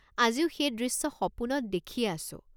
আজিও সেই দৃশ্য সপোনত দেখিয়েই আছোঁ।